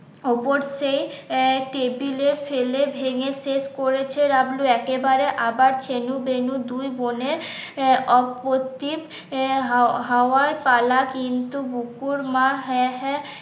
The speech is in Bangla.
ওপর সেই আহ টেবিলে ফেলে ভেঙ্গে শেষ করেছে ডাবলু একেবারে আবার ছেনু বেনু দুই বোনে এর হওয়ার পালা কিন্তু বুকুর মা হ্যাঁ হ্যাঁ